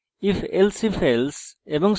ifelsifelse এবং